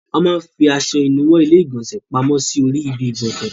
Wọ́n máa ń fi aṣọ ìnuwọ́ ilé-ìgbọ̀nsẹ̀ pamọ́ sí orí ibi-ìgbọ̀nsẹ̀.